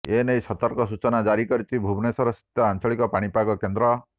ଏନେଇ ସତର୍କ ସୂଚନା ଜାରି କରିଛି ଭୁବନେଶ୍ୱରସ୍ଥିତ ଆଞ୍ଚଳିକ ପାଣିପାଗ କେନ୍ଦ୍ର